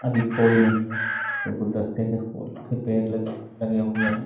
अभी कोई नही है सिर्फ गुल्दास्ते के फूल के पेड़ लगे लगे हुए है।